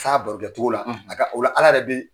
Sa barokɛcogo la o ala ala yɛrɛ be